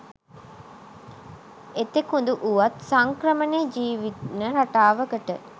එතෙකුදු වුවත් සංක්‍රමණ ජීවන රටාවකට